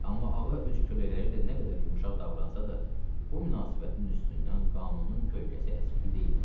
Amma ağa öz kölələri ilə nə qədər yumşaq davransa da, bu münasibətin üstündən qanunun kölgəsi əskik deyildi.